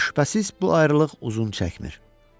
Amma şübhəsiz bu ayrılıq uzun çəkmir.